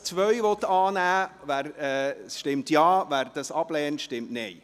Wer den Punkt 2 annehmen will, stimmt Ja, wer diesen ablehnt, stimmt Nein.